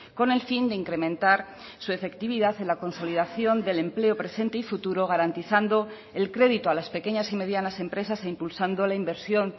con el fin de incrementar su efectividad en la consolidación del empleo presente y futuro garantizando el crédito a las pequeñas y medianas empresas e impulsando la inversión